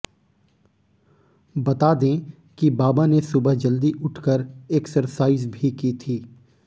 बता दें कि बाबा ने सुबह जल्दी उठकर एक्सरसाइज भी की थी